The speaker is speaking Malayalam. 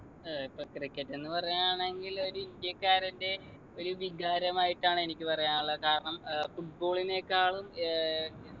ഏർ ഇപ്പൊ cricket എന്ന് പറയാണെങ്കിൽ ഒര് ഇന്ത്യക്കാരൻ്റെ ഒരു വികാരമായിട്ടാണ് എനിക്ക് പറയാനുള്ള കാരണം ഏർ football നേക്കാളും ഏർ